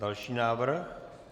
Další návrh.